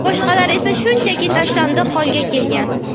Boshqalari esa shunchaki tashlandiq holga kelgan.